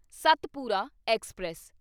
Satpura express